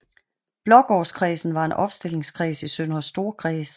Blågårdskredsen var en opstillingskreds i Søndre Storkreds